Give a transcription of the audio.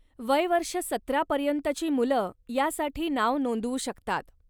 वय वर्ष सतरा पर्यंतची मुलं यासाठी नाव नोंदवू शकतात.